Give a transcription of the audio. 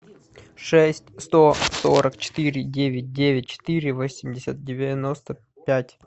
шесть сто сорок четыре девять девять четыре восемьдесят девяносто пять